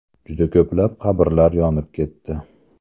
Juda ko‘plab qabrlar yonib ketdi.